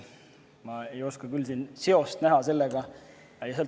Aga ma ei oska küll siin sellega seost näha.